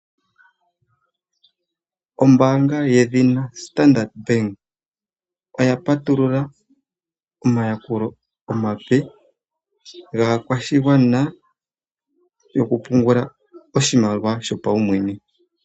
Ombaanga yedhina Standard Bank oya patulula omayakulo omape gaakwashigwana gokupungula oshimaliwa shopaumwene.